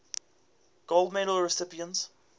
gold medal recipients